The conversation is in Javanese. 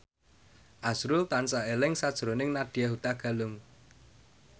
azrul tansah eling sakjroning Nadya Hutagalung